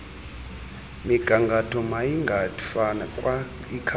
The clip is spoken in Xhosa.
migangatho mayingafakwa ikhaphethi